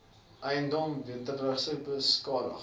eiendom wederregtelik beskadig